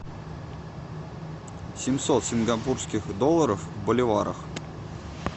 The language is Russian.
семьсот сингапурских долларов в боливарах